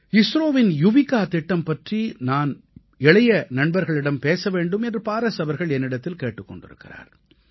இஸ்ரோவின் யுவிகா திட்டம் பற்றி நான் இளைய நண்பர்களிடம் பேச வேண்டும் என்று பாரஸ் அவர்கள் என்னிடத்தில் கேட்டுக் கொண்டிருக்கிறார்